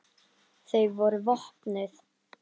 Þau voru vopnuð.